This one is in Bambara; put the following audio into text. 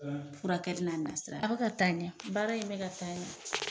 Furakɛli n'a nasira a bɛ ka taa ɲɛ baara in bɛ ka taa ɲɛ.